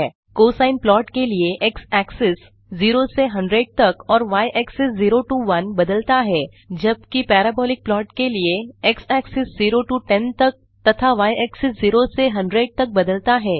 cosine plot के लिए x axis 0 से 100 तक और y एक्सिस 0 टो 1 बदलता है जबकि पैराबोलिक प्लॉट के लिए x एक्सिस 0 टो 10 तक तथाy axis 0 से 100 तक बदलता है